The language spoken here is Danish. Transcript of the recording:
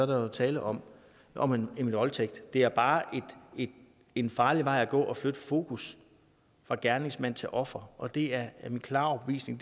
der tale om om en voldtægt det er bare en farlig vej at gå at flytte fokus fra gerningsmand til offer og det er min klare overbevisning